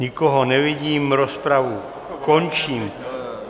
Nikoho nevidím, rozpravu končím.